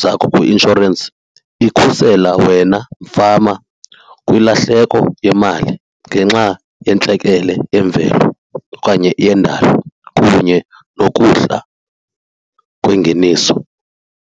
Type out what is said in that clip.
zakho kwi-inshorensi, ikhusela wena fama kwilahleko yemali ngenxa yentlekele yemvelo okanye yendalo kunye nokuhla kwengeniso.